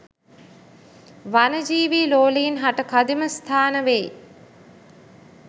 වනජීවී ලෝලීන් හට කදිම ස්ථාන වෙයි